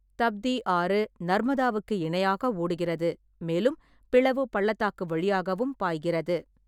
தப்தி ஆறு நர்மதாவுக்கு இணையாக ஓடுகிறது, மேலும் பிளவு பள்ளத்தாக்கு வழியாகவும் பாய்கிறது.